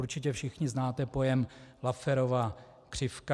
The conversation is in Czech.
Určitě všichni znáte pojem Lafferova křivka.